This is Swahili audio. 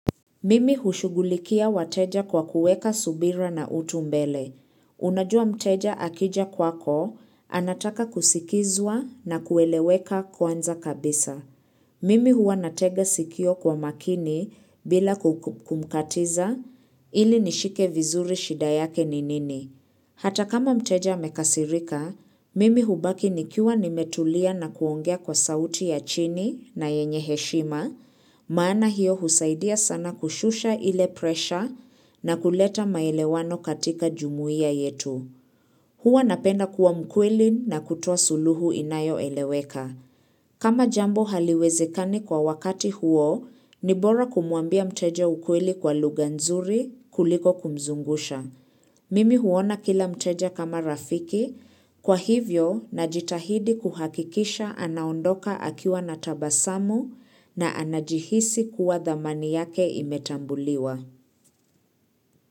Mimi hushughulikia wateja kwa kuweka subira na utu mbele. Unajua mteja akija kwako, anataka kusikizwa na kueleweka kwanza kabisa. Mimi huwa natega sikio kwa makini, bila kumkatiza ili nishike vizuri shida yake ni nini. Hata kama mteja amekasirika, mimi hubaki nikiwa nimetulia na kuongea kwa sauti ya chini na yenye heshima, maana hiyo husaidia sana kushusha ile presha na kuleta maelewano katika jumuia yetu. Huwa napenda kuwa mkweli na kutua suluhu inayoeleweka. Kama jambo haliwezekani kwa wakati huo, ni bora kumwambia mteja ukweli kwa lugha nzuri kuliko kumzungusha. Mimi huona kila mteja kama rafiki, kwa hivyo najitahidi kuhakikisha anaondoka akiwa na tabasamu na anajihisi kuwa dhamani yake imetambuliwa.